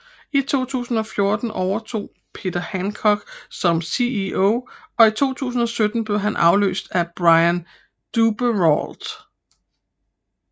I 2014 overtog Peter Hancock som CEO og i 2017 blev han afløst af Brian Duperrault